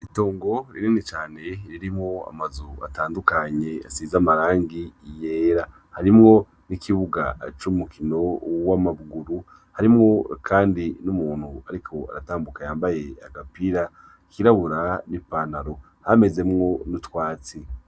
Itongo rinene cane ririmwo amazu atandukanye asiza amarangi yera, harimwo n'ikibuga c’umukino w’amabuguru, harimwo kandi n'umuntu ariko aratambuka yambaye agapira kirabura n'ipanaro hamezemwo n'utwatsi.